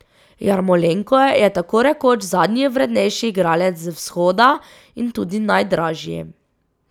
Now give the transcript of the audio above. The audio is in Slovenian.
Jarmolenko je tako rekoč zadnji vrednejši igralec z vzhoda in tudi najdražji.